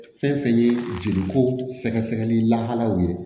Fɛn fɛn ye jeli ko sɛgɛsɛgɛli lahalaw ye